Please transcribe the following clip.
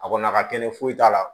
A kɔni ka telin foyi t'a la